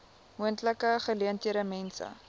moontlike geleentheid mense